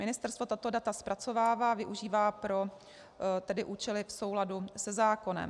Ministerstvo tato data zpracovává, využívá pro účely v souladu se zákonem.